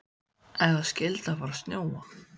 Ef það skyldi fara að snjóa.